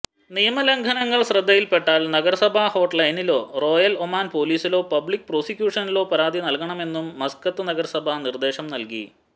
നിയമലംഘനങ്ങൾ ശ്രദ്ധയിൽപ്പെട്ടാൽ നഗരസഭാ ഹോട്ട്ലൈനിലോ റോയൽ ഒമാൻ പൊലിസിലോ പബ്ലിക് പ്രോസിക്യൂഷനിലോ പരാതി നൽകണമെന്നും മസ്കത്ത് നഗരസഭ നിര്ദേശം നല്കി